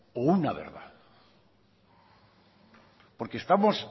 o una verdad porque estamos